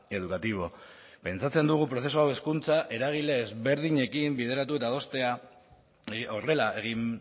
educativo pentsatzen dugu prozesu hau hezkuntza eragile ezberdinekin bideratu eta adostea horrela egin